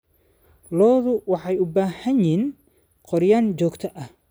Lo'du waxay u baahan yihiin gooryaan joogto ah.